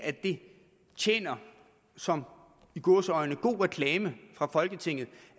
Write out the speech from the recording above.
at det tjener som i gåseøjne god reklame for folketinget